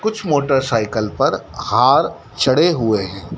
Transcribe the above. कुछ motorcycle पर हार चढ़े हुए है।